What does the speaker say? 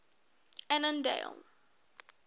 annandale